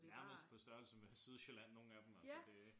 Nærmest på størrelse med Sydsjælland nogen af dem altså det